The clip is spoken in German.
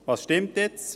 Was stimmt jetzt?